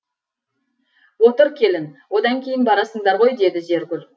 отыр келін одан кейін барасыңдар ғой деді зергүл